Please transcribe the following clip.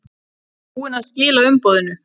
Ertu búinn að skila umboðinu?